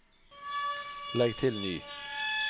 legg til ny